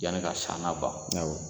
Yani ka san na ban ,.